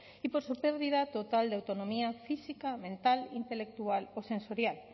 y por su pérdida total de autonomía física mental intelectual o sensorial